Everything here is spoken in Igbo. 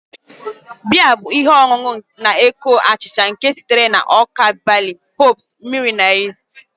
Beer bụ ihe ọṅụṅụ na-eko achịcha nke sitere na ọka bali, hops, mmiri na yist